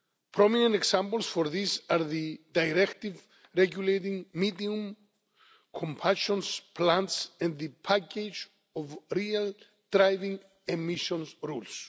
Prominent examples for this are the Directive regulating medium combustion plants and the package of Real Driving Emissions rules.